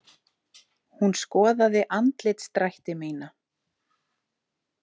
Hún skoðaði andlitsdrætti mína.